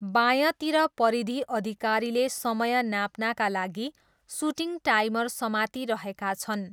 बायाँतिर परिधि अधिकारीले समय नाप्नाका लागि सुटिङ टाइमर समातिरहेका छन्।